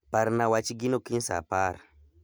Parna wach gino kiny saa apar.